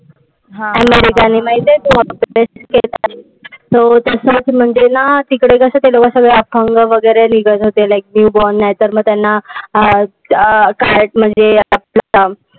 अमेरिकेने माहितीये तुला. तिकडे ते लोक सगळे अपंग वगैरे निघत होते like newborn. नाहीतर मग त्यांना अं कायच